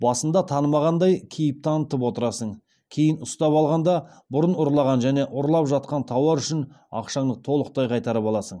басында танымағандай кейіп танытып отырасың кейін ұстап алғанда бұрын ұрлаған және ұрлап жатқан тауар үшін ақшаңды толықтай қайтарып аласың